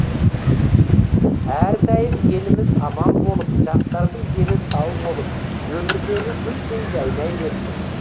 әрдайым еліміз аман болып жастардың дені сау болып өмірлелі гүлдей жайнай берсін